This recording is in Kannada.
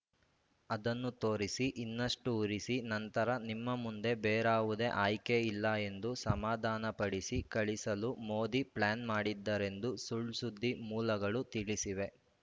ಅದನ್ನು ತೋರಿಸಿ ಇನ್ನಷ್ಟುಉರಿಸಿ ನಂತರ ನಿಮ್ಮ ಮುಂದೆ ಬೇರಾವುದೇ ಆಯ್ಕೆಯಿಲ್ಲ ಎಂದು ಸಮಾಧಾನಪಡಿಸಿ ಕಳಿಸಲು ಮೋದಿ ಪ್ಲಾನ್‌ ಮಾಡಿದ್ದಾರೆಂದು ಸುಳ್‌ಸುದ್ದಿ ಮೂಲಗಳು ತಿಳಿಸಿವೆ